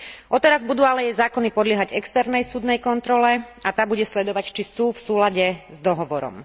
Odteraz budú ale jej zákony podliehať externej súdnej kontrole a tá bude sledovať, či sú v súlade s dohovorom.